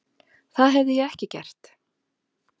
Það hefði ég ekki gert.